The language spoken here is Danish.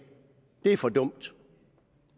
det er for dumt